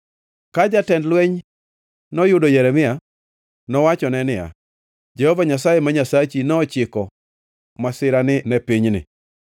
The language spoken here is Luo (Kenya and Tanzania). Ka jatend lweny noyudo Jeremia, nowachone niya, “Jehova Nyasaye ma Nyasachi nochiko masirani ne pinyni.”